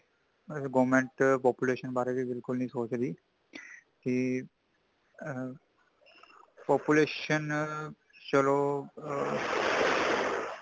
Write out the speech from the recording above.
ਹੱਲੇ government population ਬਾਰੇ ਬਿਲਕੁੱਲ ਨਹੀਂ ਸੋੱਚ ਰਹੀਂ | ਕਿ ਆ ਹ population ਚੱਲੋ |